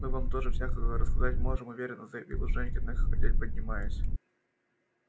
мы вам тоже всякого рассказать можем уверенно заявил женька нехотя поднимаясь